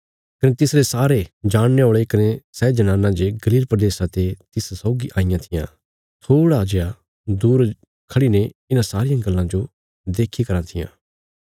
कने तिसरे सारे जाणने औल़े कने सै जनानां जे गलील प्रदेशा ते तिस सौगी आईयां थिआं थोड़ा दूर जे खढ़ी ने इन्हां सारियां गल्लां जो देखीरां थिआं